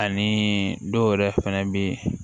Ani dɔw yɛrɛ fɛnɛ be yen